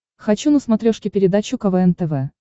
хочу на смотрешке передачу квн тв